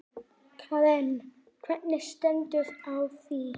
Karen: Hvernig stendur á því?